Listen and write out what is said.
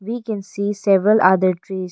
We can see several other trees.